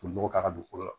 k'a ka dugukolo la